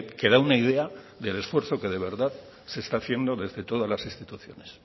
que da una idea del esfuerzo que de verdad se está haciendo desde todas las instituciones